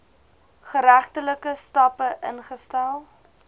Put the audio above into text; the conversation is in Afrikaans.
geregtelike stappe ingestel